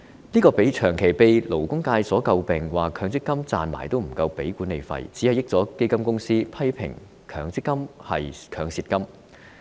這個問題長期被勞工界詬病，指強積金賺了錢也不夠繳交管理費，只會便宜了基金公司，批評強積金是"強蝕金"。